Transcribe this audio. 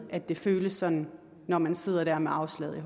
at det føles sådan når man sidder der med afslaget